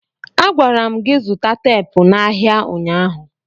Agwara m gị zụta teepu n'ahịa ụnyaahụ!